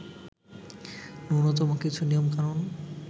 নূন্যতম কিছু নিয়মকানুন